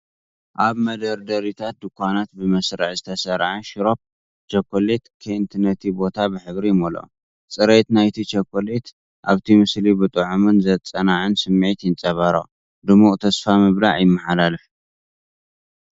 ኣብ መደርደሪታት ድኳናት ብመስርዕ ዝተሰርዐ ሽሮፕ ቸኮሌት ኬንት ነቲ ቦታ ብሕብሪ ይመልኦ። ጽሬት ናይቲ ቸኮሌት ኣብቲ ምስሊ ብጥዑምን ዘጸናንዕን ስምዒት ይንጸባረቕ፤ ድሙቕ ተስፋ ምብላዕ ይመሓላለፍ።